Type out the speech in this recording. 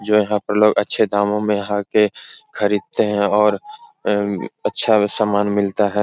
जो यहाँ पर लोग अच्छे दामों मे यहां आके खरीदते हैं और अम्म अच्छा सामान मिलता है।